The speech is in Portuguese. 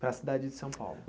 Para a cidade de São Paulo?